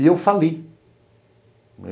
E eu fali.